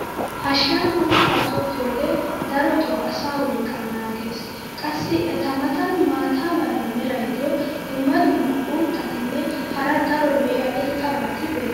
hashiyan uuttaa tokkiyoogee darotoo asaa wolqaa naagees. qassi eta matan maata mala meray diyo dumma dumma uuttatinne hara daro lo'iya irxxabati beetoosona.